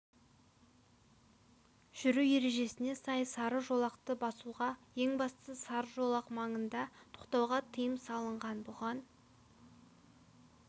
жүру ережесіне сай сары жолақты басуға ең бастысы сары жолақ маңында тоқтауға тыйым салынған бұған